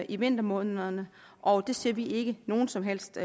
i vintermånederne og det ser vi ikke nogen som helst